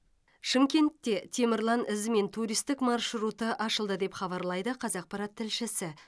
шымкентте темірлан ізімен туристік маршруты ашылды деп хабарлайды қазақпарат тілшісі